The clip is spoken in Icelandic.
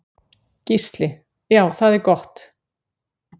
Gísli: Já það er gott.